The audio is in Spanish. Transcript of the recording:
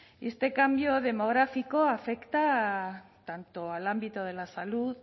este cambio demográfico afecta tanto al ámbito de la salud